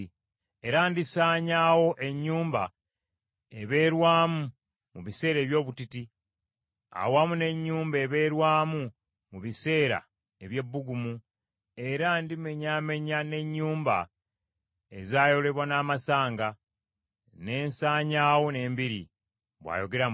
Era ndisaanyaawo ennyumba ebeerwamu mu biseera eby’obutiti, awamu n’ennyumba ebeerwamu mu biseera ey’ebbugumu; era ndimenyaamenya n’ennyumba ezayolebwa n’amasanga, ne nsanyaawo n’embiri,” bw’ayogera Mukama .